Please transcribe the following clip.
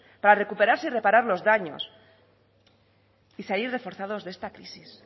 para recuperarse y reparar los daños y salir reforzados de esta crisis